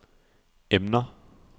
emner